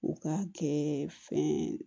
U k'a kɛ fɛn